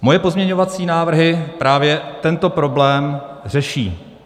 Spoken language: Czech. Moje pozměňovací návrhy právě tento problém řeší.